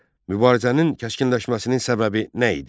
Mübarizənin kəskinləşməsinin səbəbi nə idi?